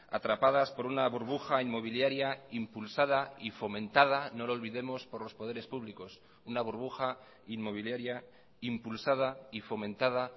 atrapadas por una burbuja inmobiliaria impulsada y fomentada no lo olvidemos por los poderes públicos una burbuja inmobiliaria impulsada y fomentada